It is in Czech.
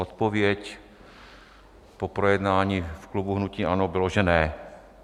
Odpověď po projednání v klubu hnutí ANO bylo, že ne.